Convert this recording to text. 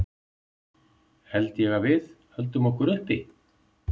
Held ég að við höldum okkur uppi?